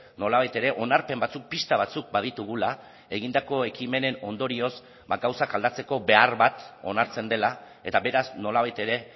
nolabait ere onarpen batzuk pista batzuk baditugula egindako ekimenen ondorioz ba gauzak aldatzeko behar bat onartzen dela eta beraz nolabait ere